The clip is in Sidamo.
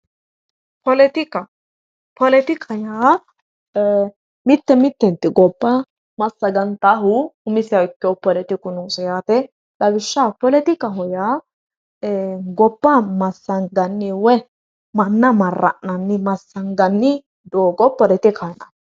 Poletika poletika yaa mitte mittenti gobba massagantaahu umiseha ikkeyohu poletiku noose yaate lawishshaho poletika yaa gobba massanganni woyi manna marra'nanni massanganni doogo poletikaho yinanni